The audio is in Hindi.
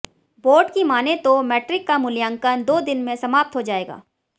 बोर्ड की मानें तो मैट्रिक का मूल्यांकन दो दिन में समाप्त हो जायेगा